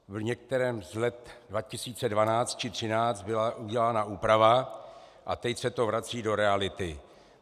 V některém z let 2012 či 2013 byla udělána úprava a teď se to vrací do reality.